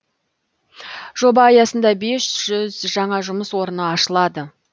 жоба аясында бес жаңа жұмыс орны ашылады